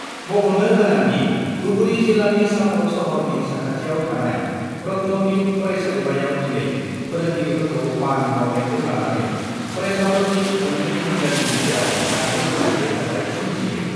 मख'नो गोनांदि, धुबुरी जिल्लानि चापर सहरनि साखाथियाव थानाय रत्नपीठ फरायसालिमायाव दिनै फोरोंगिरिफोरखौ मान बाउनायखौ लानानै फरायसाफोरनि मोननै हान्जानि गेजेराव दान्थे-बिदान्थे जाथाय सोमजियो।